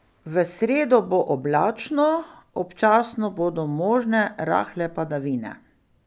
V sredo bo oblačno, občasno bodo možne rahle padavine.